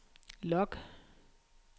log